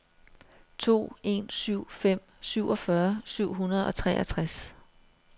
to en syv fem syvogfyrre syv hundrede og treogtres